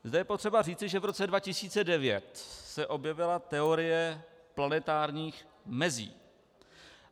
Zde je potřeba říci, že v roce 2009 se objevila teorie planetárních mezí.